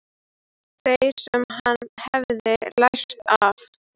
Þeirri sem hann hefði lært af.